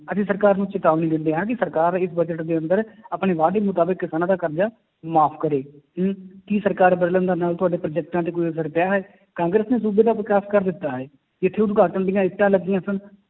ਅਸੀਂ ਸਰਕਾਰ ਨੂੰ ਚੇਤਾਵਨੀ ਦਿੰਦੇ ਹਾਂ ਕਿ ਸਰਕਾਰ ਇਹ budget ਦੇ ਅੰਦਰ ਆਪਣੇ ਵਾਅਦੇ ਮੁਤਾਬਿਕ ਕਿਸਾਨਾਂ ਦਾ ਕਰਜ਼ਾ ਮਾਫ਼ ਕਰੇ ਕੀ ਸਰਕਾਰ ਬਦਲਣ ਦੇ ਨਾਲ ਤੁਹਾਡੇ ਪ੍ਰੋਜੈਕਟਾਂ ਤੇ ਕੋਈ ਅਸਰ ਪਿਆ ਹੈ, ਕਾਂਗਰਸ ਨੇ ਸੂਬੇ ਦਾ ਵਿਕਾਸ ਕਰ ਦਿੱਤਾ ਹੈ, ਜਿੱਥੇ ਉਦਘਾਟਨ ਦੀਆਂ ਇੱਟਾਂ ਲੱਗੀਆਂ ਸਨ,